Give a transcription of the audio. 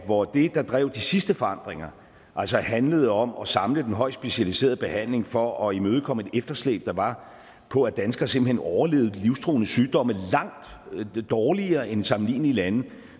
hvor det der drev de sidste forandringer handlede om at samle den højt specialiserede behandling for at imødekomme et efterslæb der var på at danskere simpelt hen overlevede livstruende sygdomme langt dårligere end i sammenlignelige lande